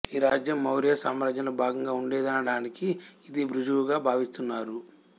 ఈ రాజ్యం మౌర్య సామ్రాజ్యంలో భాగంగా ఉండేదనడానికి ఇది ఋజువుగా భావిస్తున్నారు